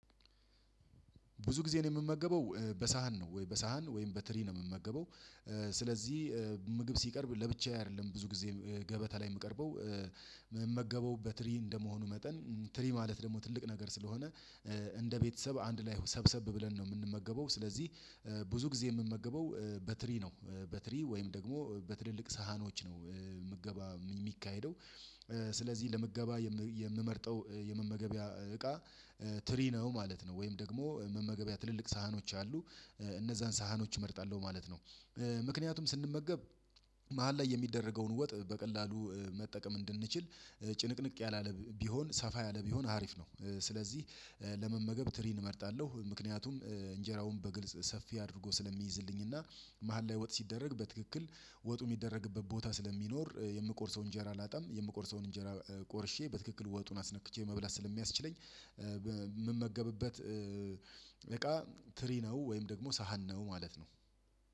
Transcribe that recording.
ብዙ ጊዜ ነው የምመገበው በሳህን ነው ወይ በሳህን ወይም በትሪ ነው የምመገበው። ስለዚህ ምግብ ሲቀርብ ለብቻዬ አይደለም ብዙ ጊዜ ገበታ ላይ የምቀርበው የምመገበው በትሪ እንደመሆኑ መጠን ትሪ ማለት ደግሞ ትልቅ ነገር ስለሆነ እንደ ቤተሰብ አንድ ላይ ሰብሰብ ብለን ነው የምንመገበው ስለዚህ ብዙ ጊዜ የምመገበው በትሪ ነው። በትሪ ወይም ደግሞ በትልልቅ ሳህኖች ነው ምገባ የሚካሄደው ስለዚህ ለምገባ የምመርጠው የመመገቢያ እቃ ትሪ ነው ማለት ነው። ወይም ደግሞ መመገቢያ ትልልቅ ሳህኖች አሉ እነዛን ሳህኖች እመርጣለሁ ማለት ነው። ምክንያቱም ስንመገብ መሃል ላይ የሚደረገውን ወጥ በቀላሉ መጠቀም እንድንችል ጭንቅንቅ ያላለ ቢሆን ሰፋ ያለ ቢሆን አሪፍ ነው። ስለዚህ ለመመገብ ትሪን እመርጣለሁ ምክንያቱም እንጀራውን በግልጽ ሰፊ አድርጎ ስለሚይዝልኝ እና መሃል ላይ ወጥ ሲደረግ በትክክል ወጡ የሚደረግበት ቦታ ስለሚኖር የምቆርሰውን እንጀራ አላጣም የምቆርሰውን እንጀራ ቆርሼ በትክክል ወጡን አስነክቼ መብላት ስለሚያስችለኝ የምመገብበት እቃ ትሪ ነው። ወይም ደግሞ ሳህን ነው ማለት ነው።